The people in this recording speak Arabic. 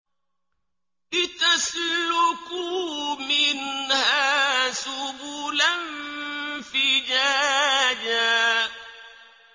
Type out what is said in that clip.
لِّتَسْلُكُوا مِنْهَا سُبُلًا فِجَاجًا